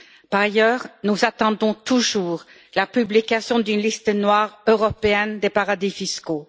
Par ailleurs, nous attendons toujours la publication d'une liste noire européenne des paradis fiscaux.